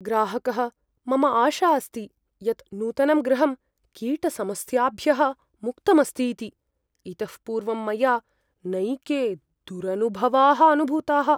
ग्राहकः "मम आशा अस्ति यत् नूतनं गृहं कीटसमस्याभ्यः मुक्तमस्तीति । इतः पूर्वं मया नैके दुरनुभवाः अनुभूताः"।